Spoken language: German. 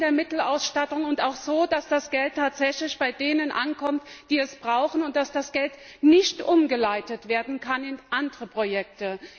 Das heißt, in der Mittelausstattung und auch so, dass das Geld tatsächlich bei denen ankommt, die es brauchen, und dass das Geld nicht umgeleitet werden kann in andere Projekte.